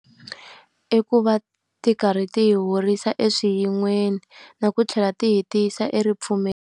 I ku va ti karhi ti hi horisa eswiyin'weni na ku tlhela ti hi ti yisa .